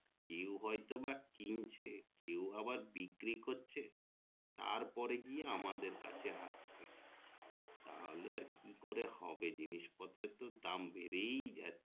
কেও হয়তো বা কিনছে কেও আবার বিক্রি তো করছে তার পরে গিয়ে আমাদের তাহলে আর কি করে হবে জিনিস পত্রের দাম বেড়েই যাচ্ছে